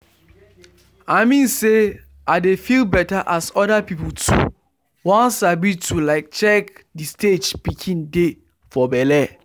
i mean say i dey feel better as other people too won sabi to like check the stage pikin dey for belle.